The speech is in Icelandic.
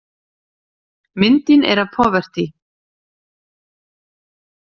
Myndin er af Poverty.